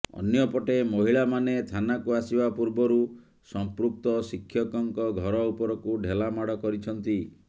ଅନ୍ୟପଟେ ମହିଳାମାନେ ଥାନାକୁ ଆସିବା ପୂର୍ବରୁ ସମ୍ପୃକ୍ତ ଶିକ୍ଷକଙ୍କ ଘର ଉପରକୁ ଢେଲା ମାଡ଼ କରିଛନ୍ତି